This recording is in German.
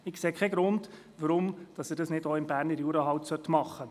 Ich sehe keinen Grund, warum er dies nicht auch im Berner Jura tun könnte.